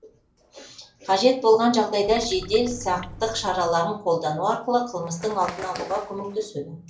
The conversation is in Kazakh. қажет болған жағдайда жедел сақтық шараларын қолдану арқылы қылмыстың алдын алуға көмектеседі